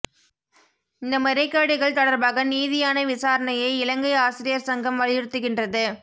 இந்த முறைகேடுகள் தொடர்பாக நீதியான விசாரணையை இலங்கை ஆசிரியர் சங்கம் வலியுறுத்துகின்றது